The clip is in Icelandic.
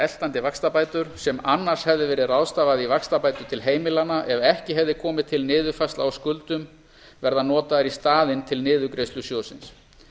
eltandi vaxtabætur sem annars hefði verið ráðstafað í vaxtabætur til heimilanna ef ekki hefði komið til niðurfærsla á skuldum verða notaðar í staðinn til niðurgreiðslu sjóðsins